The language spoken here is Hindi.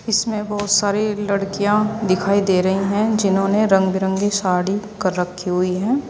इसमें बहुत सारी लड़कियां दिखाई दे रही हैं जिन्होंने रंग बिरंगी साड़ी कर रखी हुई है।